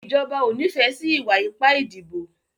Ìjọba o n'ifẹ sí iwa-ipa ìdìbò.